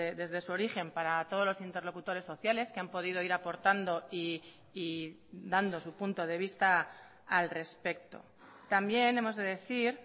desde su origen para todos los interlocutores sociales que han podido ir aportando y dando su punto de vista al respecto también hemos de decir